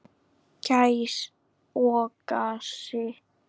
Gæs og gassi.